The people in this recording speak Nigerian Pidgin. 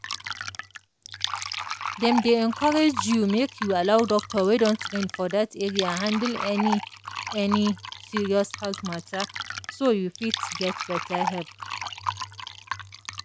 dem dey encourage you make you allow doctor wey don train for that area handle any any serious health matter so you fit get better help.